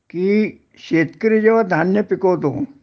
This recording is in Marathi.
कि शेतकरी जेंव्हा धान्य पिकवतो